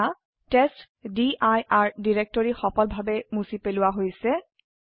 এতিয়া টেষ্টডিৰ ডিৰেক্টৰি সফলভাবে মুছি পালোৱা হৈছে